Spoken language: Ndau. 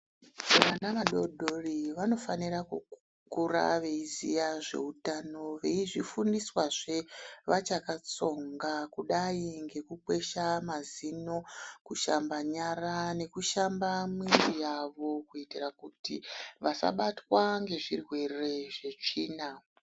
Vana vadodori vanofanira kukura veiziya zveutano veizvifundiswazve vachakatsonga kudai ngekukwesha mazino kushamba nyara nekushamba mwiri yao kuitira kuti vasabatwa nezvirwere zvetsvina.